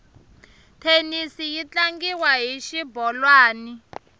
thenisi yi tlangiwa hi xibolwani